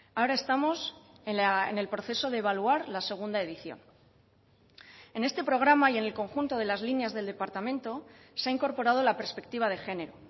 ahora estamos en el proceso de evaluar la segunda edición en este programa y en el conjunto de las líneas del departamento se ha incorporado la perspectiva de género